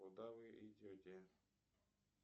куда вы идете